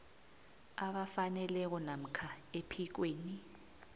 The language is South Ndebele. abafaneleko namkha ephikweni